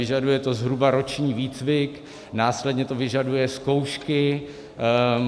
Vyžaduje to zhruba roční výcvik, následně to vyžaduje zkoušky.